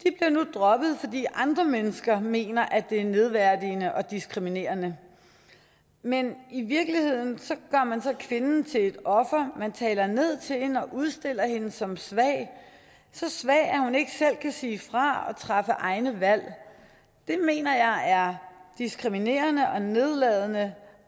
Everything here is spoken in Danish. droppet fordi andre mennesker mener at det er nedværdigende og diskriminerende men i virkeligheden gør man så kvinden til et offer og man taler ned til hende og udstiller hende som svag så svag at hun ikke selv kan sige fra og træffe egne valg det mener jeg er diskriminerende og nedladende